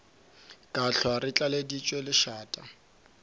ka hlwa re tlaleditšwe lešata